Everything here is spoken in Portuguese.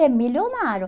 É milionário.